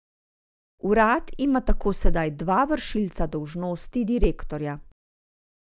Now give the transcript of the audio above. Urad ima tako sedaj dva vršilca dolžnosti direktorja.